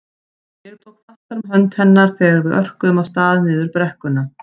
Ég tók fastar um hönd hennar þegar við örkuðum af stað niður brekkuna.